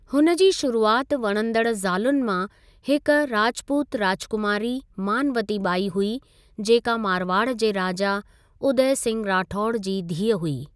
हुन जी शुरुआति वणंदड़ ज़ालुनि मां हिक राजपूत राजकुमारी मानवती बाई हुई, जेका मारवाड़ जे राजा उदय सिंह राठौड़ जी धीअ हुई।